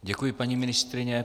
Děkuji, paní ministryně.